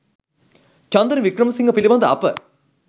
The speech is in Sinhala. චන්දන වික්‍රමසිංහ පිළිබඳ අප